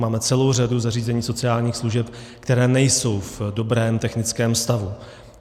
Máme celou řadu zařízení sociálních služeb, která nejsou v dobrém technickém stavu.